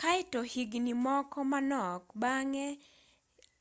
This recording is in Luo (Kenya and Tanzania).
kaeto higni moko manok bang'e